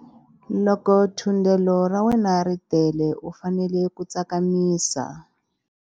Loko thundelo ra wena ri tele u fanele ku tsakamisa.